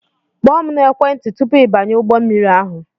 Kpọọ m na-ekwenti tụpụ I banye ụgbọ mmiri ahụ!